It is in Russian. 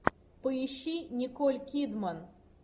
поищи николь кидман